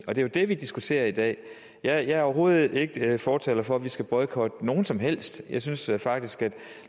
er jo det vi diskuterer i dag jeg er overhovedet ikke fortaler for at vi skal boykotte nogen som helst jeg synes faktisk